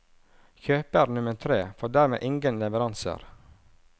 Kjøper nummer tre får dermed ingen leveranser.